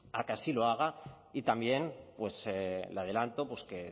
a que así lo haga y también le adelanto que